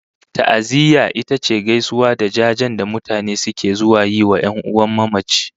Ta'aziyya ita ce gaisuwa da jajen da mutane suke zuwa yi wa 'yan'uwan mamaci